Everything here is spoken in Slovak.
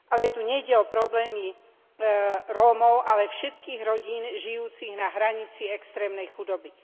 Tu však nejde o problémy Rómov, ale všetkých rodín žijúcich na hranici extrémnej chudoby.